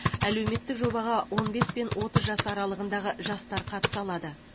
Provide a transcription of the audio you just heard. әлеуметтік жобаға он бес пен отыз жас аралығындағы жастар қатыса алады